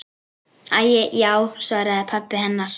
Æi já, svaraði pabbi hennar.